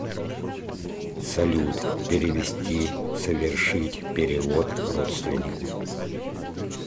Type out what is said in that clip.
салют перевести совершить перевод родственнику